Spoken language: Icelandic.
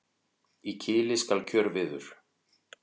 Í kili skal kjörviður.